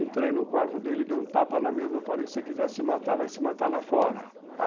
Entrei no quarto dele, dei um tapa na mesa e falei, se você quiser se matar, vai se matar lá fora.